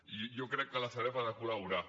i jo crec que la sareb ha de col·laborar